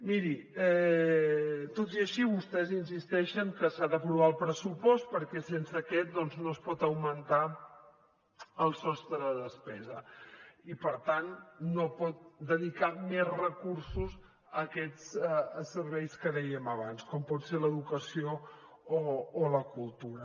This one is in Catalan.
miri tot i així vostès insisteixen que s’ha d’aprovar el pressupost perquè sense aquest doncs no es pot augmentar el sostre de despesa i per tant no pot dedicar més recursos a aquests serveis que dèiem abans com pot ser l’educació o la cultura